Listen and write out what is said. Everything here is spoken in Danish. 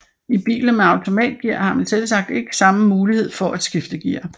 I biler med automatgear har man selvsagt ikke samme mulighed for at skifte gear